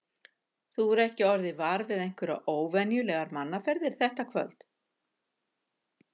Þú hefur ekki orðið var við einhverjar óvenjulegar mannaferðir þetta kvöld?